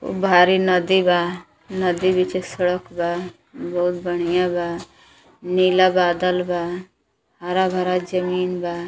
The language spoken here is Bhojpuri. उ भारी नदी बा नदी बीचे सड़क बा बहुत बढ़ियां बा नीला बादल बा हरा भरा जमीन बा।